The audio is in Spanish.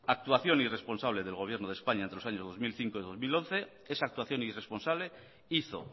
actuación irresponsable del gobierno de españa entre los años dos mil cinco y dos mil once esa actuación irresponsable hizo